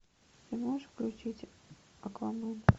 ты можешь включить аквамен